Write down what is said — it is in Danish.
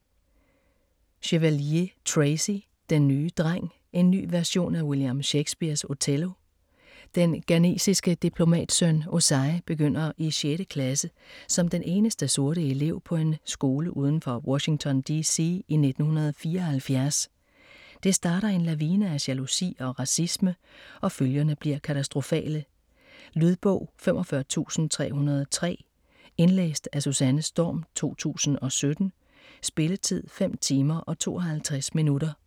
Chevalier, Tracy: Den nye dreng: en ny version af William Shakespears Othello Den ghanesiske diplomatsøn Osei begynder i sjette klasse som den eneste sorte elev på en skole uden for Washington D.C. i 1974. Det starter en lavine af jalousi og racisme, og følgerne bliver katastrofale. Lydbog 45303 Indlæst af Susanne Storm, 2017. Spilletid: 5 timer, 52 minutter.